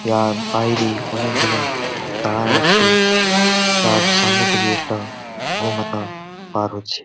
ইহার বাইরে অনেক জনা দাঁড়ায় আছে। তার সামনে থেকে একটা গোমাতা পার হচ্ছে।